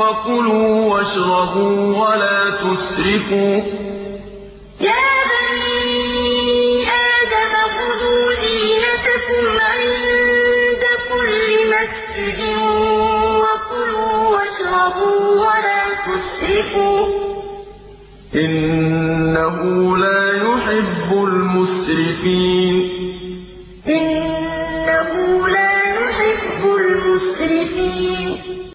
وَكُلُوا وَاشْرَبُوا وَلَا تُسْرِفُوا ۚ إِنَّهُ لَا يُحِبُّ الْمُسْرِفِينَ ۞ يَا بَنِي آدَمَ خُذُوا زِينَتَكُمْ عِندَ كُلِّ مَسْجِدٍ وَكُلُوا وَاشْرَبُوا وَلَا تُسْرِفُوا ۚ إِنَّهُ لَا يُحِبُّ الْمُسْرِفِينَ